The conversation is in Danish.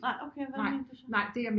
Nej okay hvad mente du så